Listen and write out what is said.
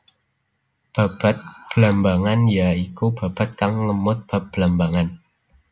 Babad Blambangan ya iku babad kang ngemot bab Blambangan